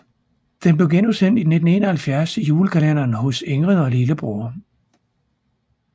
Den blev genudsendt i 1971 i julekalenderen Hos Ingrid og lillebror